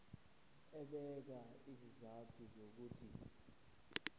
ebeka izizathu zokuthi